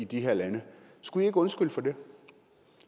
de her lande skulle i ikke undskylde for det